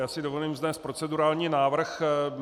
Já si dovolím vznést procedurální návrh.